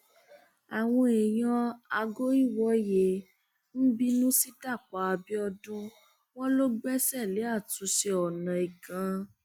àwọn èèyàn àgọìwòye ń bínú sí dapò abiodun wọn ló gbẹsẹ lé àtúnṣe ọnà igan